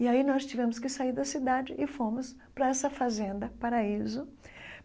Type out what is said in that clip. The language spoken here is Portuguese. E aí nós tivemos que sair da cidade e fomos para essa fazenda, Paraíso.